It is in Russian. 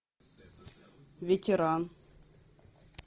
ветеран